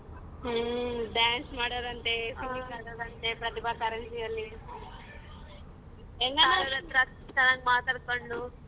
ಹ್ಮ್ dance ಮಾಡೋದಂತ್ತೆ singing ಮಾಡೋದಂತ್ತೆ ಪ್ರತಿಭಾ ಕಾರಂಜಿಯಲ್ಲಿ ಚನಾಗ್ ಮಾತಾಡ್ಕೊಂಡು.